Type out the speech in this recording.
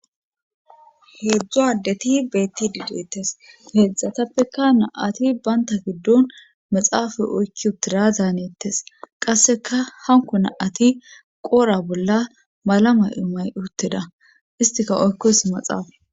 heedzdzu addeti beettidi deettes heedzdzatappeka na7ati banta giddon maxaafay oykki utira danettes qasseka hanko naati qora bolla malama imay utteda istika oykkos maxaafa